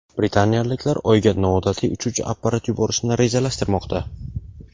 Britaniyaliklar Oyga noodatiy uchuvchi apparat yuborishni rejalashtirmoqda.